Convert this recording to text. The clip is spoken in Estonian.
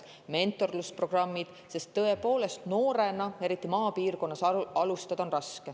Mentorlusprogrammid, sest tõepoolest, noorena, eriti maapiirkonnas, alustada on raske.